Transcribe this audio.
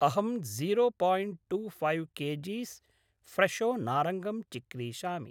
अहं zero point two five K Gs फ्रेशो नारङ्गम् चिक्रीषामि।